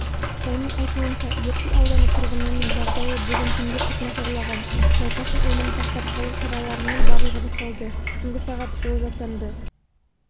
оның айтуынша ертіс ауданы тұрғынының жағдайы бүгін түнде күрт нашарлаған науқастың өмірін сақтап қалу шараларының барлығы жасалды түнгі сағат ол жасанды